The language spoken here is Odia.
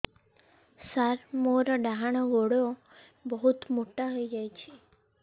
ସାର ମୋର ଡାହାଣ ଗୋଡୋ ବହୁତ ମୋଟା ହେଇଯାଇଛି